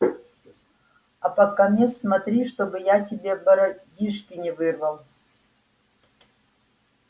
а покамест смотри чтоб я тебе бородишки не вырвал